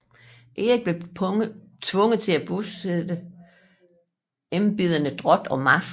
Erik blev tvunget til at besætte embederne drot og marsk